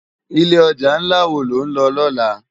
Ilé òjá nlá wó ló nlò lòlá?